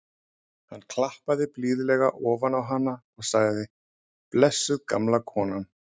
Hann klappaði blíðlega ofan á hana og sagði: blessuð gamla konan.